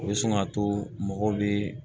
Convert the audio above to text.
O bɛ sin ka to mɔgɔ bɛ